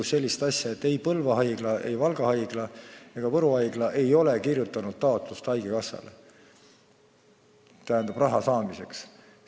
Ja selgus, et ei Põlva ega Valga ega Võru haigla ole kirjutanud haigekassale taotlust raha saamiseks.